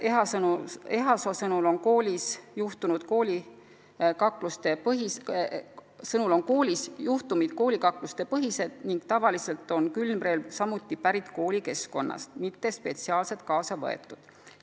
Ehasoo kinnitusel on koolis põhiliselt tegu kaklustega ning kui mängus on külmrelv, siis on see enamasti pärit koolikeskkonnast, mitte spetsiaalselt kaasa võetud.